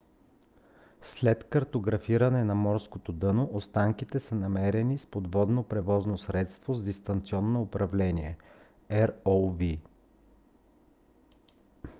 след картографиране на морското дъно останките са намерени с подводно превозно средство с дистанционно управление rov